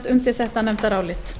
undir þetta nefndarálit